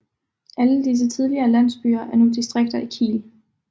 Alle disse tidligere landsbyer er nu distrikter i Kiel